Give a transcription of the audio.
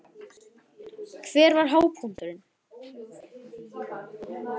Gísli: Hver var hápunkturinn?